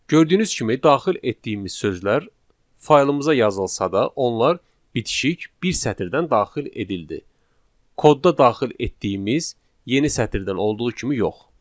Gördüyünüz kimi, daxil etdiyimiz sözlər faylımıza yazılsa da, onlar bitişik bir sətirdən daxil edildi, kodda daxil etdiyimiz yeni sətirdən olduğu kimi yox.